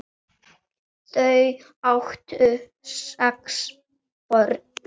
Þau áttu sex börn.